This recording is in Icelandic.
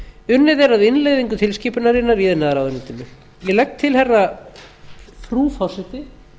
unnið er að innleiðingu tilskipunarinnar í iðnaðarráðuneytinu ég legg til frú forseti